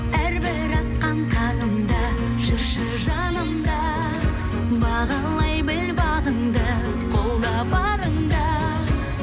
әрбір атқан таңымда жүрші жанымда бағалай біл бағыңды қолда барыңда